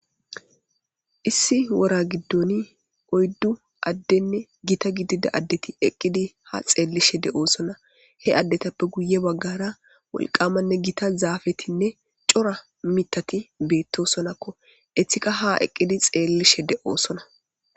Issi wora giddoni oyddu addenne gita gidida addeti eqqidi ha xeellishe de'oosona he addetappe guye baggara wolqamanne gita zaafetinne cora mitati beettosonakko eththika ha eqqidi xeellishe de'oosona